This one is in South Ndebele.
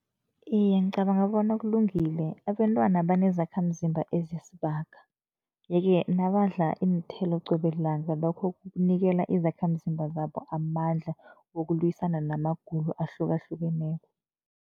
Iye, ngicabanga bona kulungile. Abentwana banezakhamzimba ezisibaga, yeke nabadla iinthelo qobe lilanga lokho kunikela izakhamzimba zabo amandla wokulwisana namagulo ahlukahlukeneko.